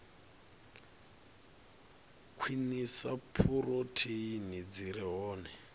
khwinisa phurotheini dzi re hone